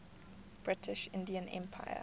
british indian empire